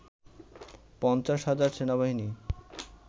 ৫০ হাজার সেনাবাহিনী